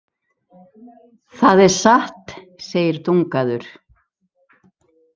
Það er satt, segir Dungaður.